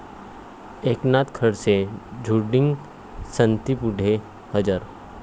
एकनाथ खडसे झोटिंग समितीपुढे हजर